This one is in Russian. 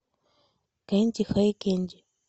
кэнди хэй кэнди